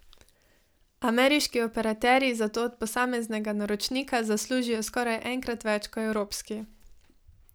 Ameriški operaterji zato od posameznega naročnika zaslužijo skoraj enkrat več kot evropski.